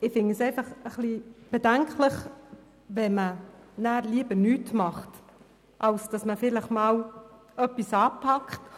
Ich finde es bedenklich, wenn man lieber nichts unternehmen will, anstatt vielleicht etwas anzupacken.